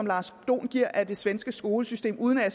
lars dohn giver af det svenske skolesystem uden at